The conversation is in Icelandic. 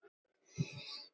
Ég humma.